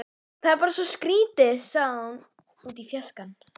Það er bara svo skrýtið sagði hún út í fjarskann.